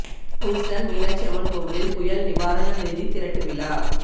Houston Meenakshi Amman கோவிலில் புயல் நிவாரண நிதி திரட்டு விழா